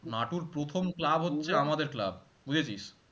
নাটুর প্রথম আমাদের club